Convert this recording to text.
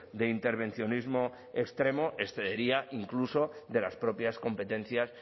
de intervencionismo extremo excedería incluso de las propias competencias